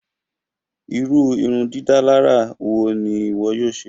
Ìru ìrundidàlarà wo ni ìwọ yóò ṣe?